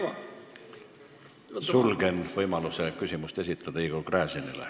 Sulgen Igor Gräzini võimaluse küsimust esitada.